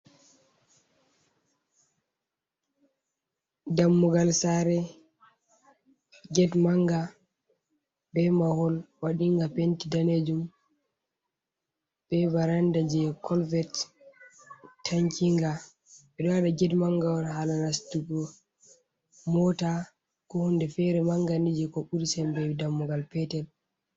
Dammugal sare, get manga be mahol waɗi nga penti danejum, be varanda je colvert tankinga ɓeɗo waɗa get manga on hala nastugo mota ko hunde fere manga ni je ko buri sembe dammugal petel.